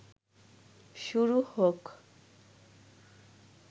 শুরু হোক